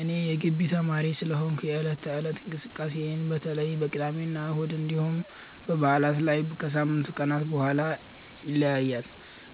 እኔ የጊቢ ተማሪ ስለሆንኩ የዕለት ተዕለት እንቅስቃሴዬ በተለይ በቅዳሜና እሁድ እንዲሁም በበዓላት ላይ ከሳምንቱ ቀናት በጣም ይለያያል።